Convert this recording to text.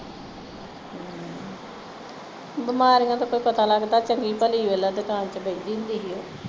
ਬਿਮਾਰੀਆਂ ਦਾ ਕੋਈ ਪਤਾ ਲਗਦਾ ਹੈ ਚੰਗੀ ਭਲੀ ਵੇਖ ਲੈ ਦੁਕਾਨ ਤੇ ਬਹਿੰਦੀ ਹੁੰਦੀ ਸੀ ਉਹ